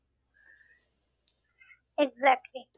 Exactly